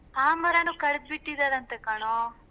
ಆ ಮರನೂ ಕಡ್ದ್ಬಿಟ್ಟಿದಾರಂತೇ ಕಣೊ.